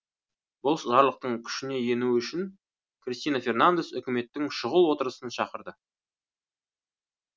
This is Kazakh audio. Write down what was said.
бұл жарлықтың күшіне енуі үшін кристина фернандес үкіметтің шұғыл отырысын шақырды